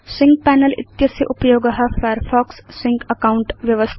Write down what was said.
sync panel इत्यस्य उपयोग Firefox sync account